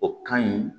O ka ɲi